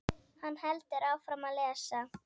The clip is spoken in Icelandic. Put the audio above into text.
Hann heldur áfram að lesa